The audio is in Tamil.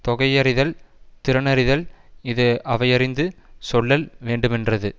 தொகையறிதல் திறனறிதல் இது அவையறிந்து சொல்லல் வேண்டுமென்றது